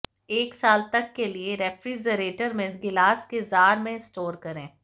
एक साल तक के लिए रेफ्रिजरेटर में गिलास के जार में स्टोर करें